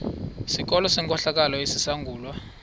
sikolo senkohlakalo esizangulwa